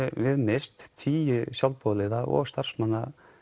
við misst tíu sjálfboðaliða og starfsmenn